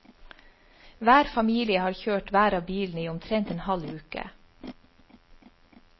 Hver familie har kjørt hver av bilene i omtrent en halv uke.